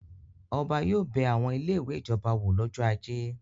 Ọba yóò bẹ àwọn ilé-ìwé ìjọba wò lọ́jọ́ ajé.